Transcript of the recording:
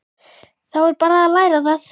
Þá er bara að læra það!